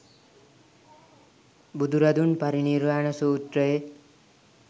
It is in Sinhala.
බුදුරදුන් පරිනිර්වාණ සූත්‍රයේ